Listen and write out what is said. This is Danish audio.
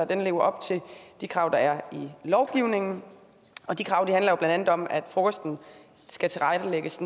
den lever op til de krav der er i lovgivningen de krav handler jo blandt andet om at frokosten skal tilrettelægges